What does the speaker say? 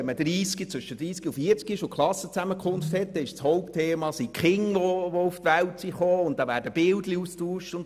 Wenn man zwischen 30- und 40-jährig an einer Klassenzusammenkunft teilnimmt, ist das Hauptthema die Kinder, die auf die Welt gekommen sind und deren Bilder werden ausgetauscht.